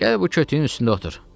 Gəl bu kötüyün üstündə otur.